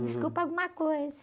Uhum.esculpa alguma coisa.